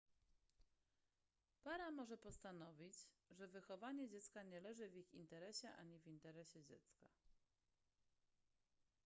para może postanowić że wychowanie dziecka nie leży w ich interesie ani w interesie dziecka